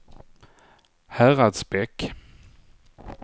Häradsbäck